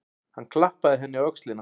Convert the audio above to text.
Hann klappaði henni á öxlina.